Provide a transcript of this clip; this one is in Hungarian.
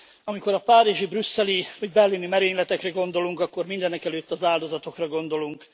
Amikor a párizsi, brüsszeli vagy berlini merényletekre gondolunk, akkor mindenek előtt az áldozatokra gondolunk.